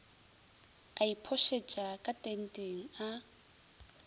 a iphošetša ka tenteng a